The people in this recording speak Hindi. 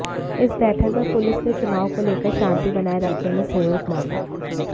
इस बैठक में पुलिस ने चुनाव को लेकर शांति बनाये रखने में सहयोग मांगा